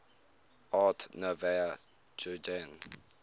art nouveau jugend